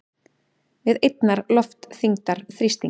við einnar loftþyngdar þrýsting.